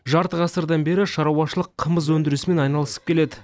жарты ғасырдан бері шаруашылық қымыз өндірісімен айналысып келеді